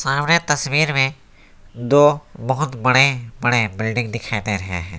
हमें तस्वीर में दो बहुत बड़े बड़े बिल्डिंग दिखाई दे रहे हैं।